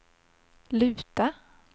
luta